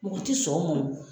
Mɔgɔ ti sɔn o man o